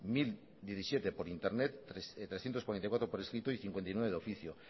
mil diecisiete por internet trescientos cuarenta y cuatro por escrito y cincuenta y nueve de oficio